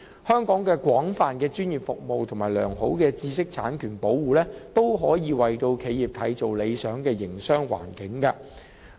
香港的廣泛專業服務和良好的知識產權保護，均可以為企業締造理想的營商環境。